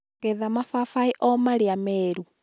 getha mababaĩ o marĩa meeru